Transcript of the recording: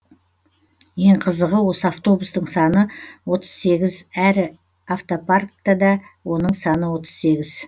ең қызығы осы автобустың саны отыз сегіз әрі автопарктада оның саны отыз сегіз